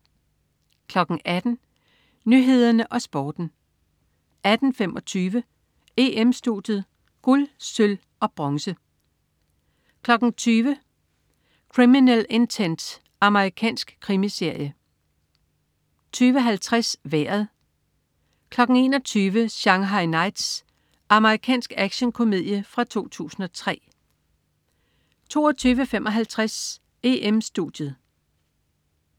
18.00 Nyhederne og Sporten 18.25 EM-Studiet: Guld, Sølv, Bronze 20.00 Criminal Intent. Amerikansk krimiserie 20.50 Vejret 21.00 Shanghai Knights. Amerikansk actionkomedie fra 2003 22.55 EM-Studiet